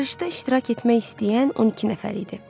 Yarışda iştirak etmək istəyən 12 nəfər idi.